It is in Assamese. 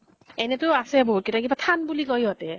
এনেই তো আছে বহুত কেইটা । কিবা থান বুলি কয় সিহঁতে ।